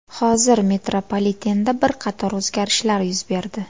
Hozir metropolitenda bir qator o‘zgarishlar yuz berdi.